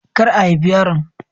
Kar a haifi yaron.